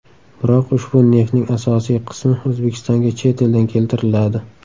Biroq, ushbu neftning asosiy qismi O‘zbekistonga chet eldan keltiriladi.